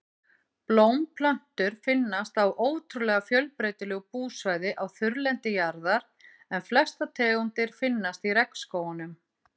Blómplöntur finnast á ótrúlega fjölbreytilegu búsvæði á þurrlendi jarðar en flestar tegundir finnast í regnskógunum.